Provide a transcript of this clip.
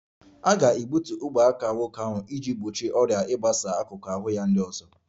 A ga-egbutu ogwe aka nwoke ahụ iji gbochie ọrịa ahụ ịgbasa n'akụkụ ahụ ya ndị ọzọ